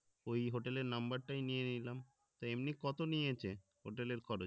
ওই hotel এর number টাই নিয়ে নিলাম তো এমনি কত নিয়েছে hotel এর খরচ